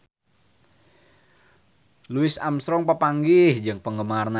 Louis Armstrong papanggih jeung penggemarna